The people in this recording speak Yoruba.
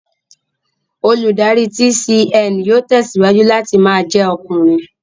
Olùdarí TCN yóò tẹ̀síwájú láti ma jẹ́ ọkùnrin